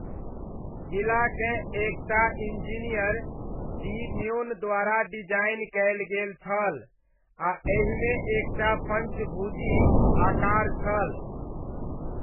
किलाकेँ एकटा इंजीनियर, डी न्योन द्वारा डिजाइन कयल गेल छल आ एहिमे एकटा पँचभुजी आकार छल।